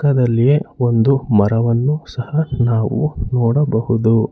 ಪಕ್ಕದಲ್ಲಿ ಒಂದು ಮರವನ್ನು ಸಹ ನಾವು ನೋಡಬಹುದು.